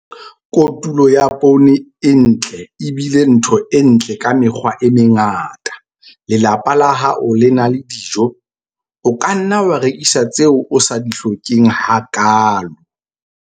Kotulo ya poone e ntle e bile ntho e ntle ka mekgwa e mengata - lelapa la hao le na le dijo. O ka nna wa rekisa tseo o sa di hlokeng hakaalo.